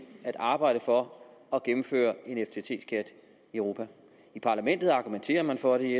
at arbejde for at gennemføre en ftt skat i europa i parlamentet argumenterer man for det